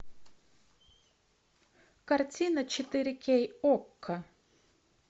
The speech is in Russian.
картина четыре кей окко